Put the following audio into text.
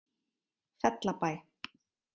Fellabæ